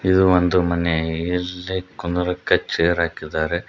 ಇದು ಒಂದು ಮನೆ ಇಲ್ಲಿ ಕುಂದರಕ್ಕೆ ಚೇರ್ ಹಾಕಿದ್ದಾರೆ.